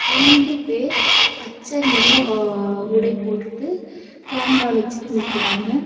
ரெண்டு பேர் பச்ச நீரோம் ஆ உடை போட்டுட்டு கேமரா வச்சுட்டு நிக்கறாங்க.